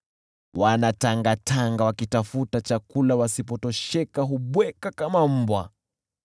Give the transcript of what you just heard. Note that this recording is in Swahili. Wanatangatanga wakitafuta chakula, wasipotosheka hubweka kama mbwa.